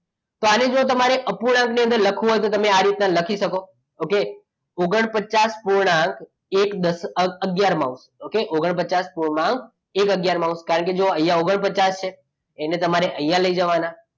તો આની જોડે તમારે અપૂર્ણાંક ની અંદર લખો તો આ રીતના લખી શકો okay ઓગણપચાસ એક આગયાર માઉસ ઓગણપચાસ એક આગયાર માઉસ થાય તો અહીંયા જુઓ ઓગણપચાસ છે એને તમારે અહીંયા લઈ જવાના